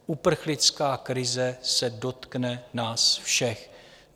Uprchlická krize se dotkne nás všech.